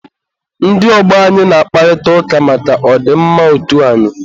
ndị ọgbọ anyị na-akparịta ụka maka ọ dị mma otu anyị.